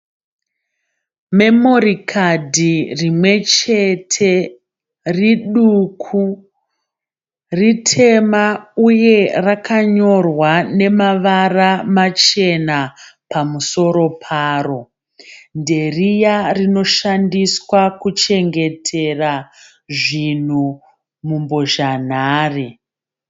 Memori kadhi rimwe chete riduku, ritema uye rakanyorwa nemavara machena pamusoro paro nderiya rinoshandiswa kuchengetera zvinhu mumbozha nhare.